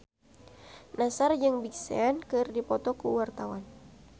Nassar jeung Big Sean keur dipoto ku wartawan